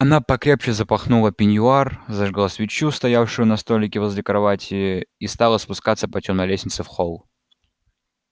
она покрепче запахнула пеньюар зажгла свечу стоявшую на столике возле кровати и стала спускаться по тёмной лестнице в холл